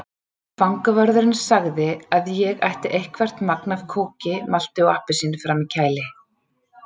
Fangavörðurinn sagði að ég ætti eitthvert magn af kóki, malti og appelsíni frammi í kæli.